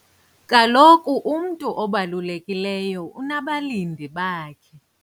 Kaloku umntu obalulekileyo unabalindi bakhe.